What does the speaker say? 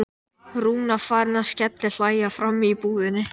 Rúna farin að skellihlæja frammi í búðinni!